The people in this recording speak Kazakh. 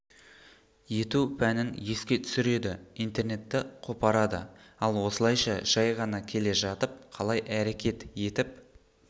ету пәнін еске түсіреді интернетті қопарады ал осылайша жай ғана келе жатып қалай әрекет етіп